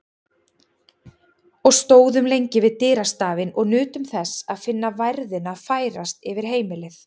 Og stóðum lengi við dyrastafinn og nutum þess að finna værðina færast yfir heimilið.